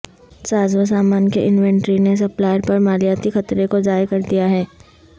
سازوسامان کے انوینٹری نے سپلائر پر مالیاتی خطرے کو ضائع کر دیا ہے